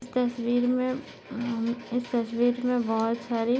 इस तस्वीर मे अ इस तस्वीर मे बहुत सारी--